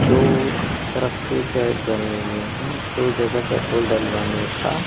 दो तरफ के शेड बने हुए हैं दो जगह पेट्रोल डलवाने का--